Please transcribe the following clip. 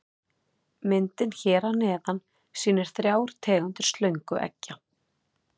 Myndin hér að neðan sýnir þrjár tegundir slöngueggja.